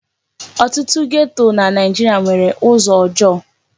Ọtụtụ geto na Naijiria nwere ụzọ ọjọọ.